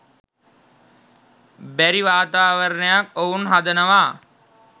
බැරි වාතාවරණයක් ඔවුන් හදනවා